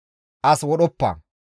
«As wodhoppa.